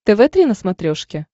тв три на смотрешке